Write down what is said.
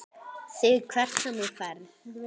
ÞIG HVERT SEM ÞÚ FERÐ.